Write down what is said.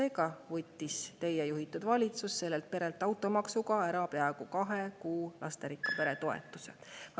Seega võttis teie juhitud valitsus sellelt perelt automaksuga ära peaaegu kahe kuu suuruse lasterikka pere toetuse.